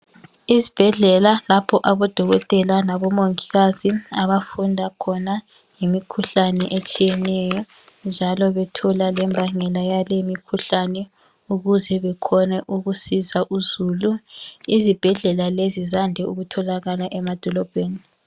Isibhedlela lapho odokotela labomongikazi abafunda khona ngemikhuhlane etshiyeneyo njalo bethola lembangela yalemikhuhlane ukuze bekhone ukusiza uzulu izibhedlela lezi sande ukutholakala emadolobheni.